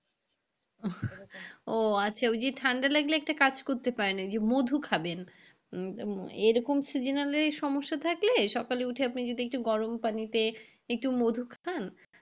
ও আচ্ছা, ওই যে ঠান্ডা লাগলে একটা কাজ করতে পারেন ওই যে মধু খাবেন এরকম seasonal এই সমস্যা থাকলে সকালে উঠে যদি একটু গরম পানিতে একটু মধু খান।